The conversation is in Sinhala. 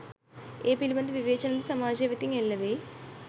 ඒ පිළිබඳ විවේචන ද සමාජය වෙතින් එල්ලවෙයි.